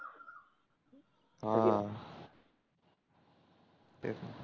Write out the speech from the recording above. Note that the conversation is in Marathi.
हम्म